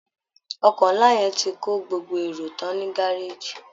Ọkọ̀ ńlá yẹn ti kó gbogbo èrò tán ní gárèjì